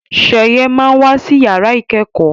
Sheye má wá sí yàrá ikẹkọ